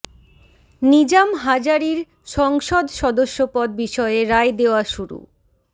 নিজাম হাজারীর সংসদ সদস্য পদ বিষয়ে রায় দেওয়া শুরু